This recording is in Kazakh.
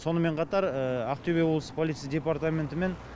сонымен қатар ақтөбе облыстық полиция департаментімен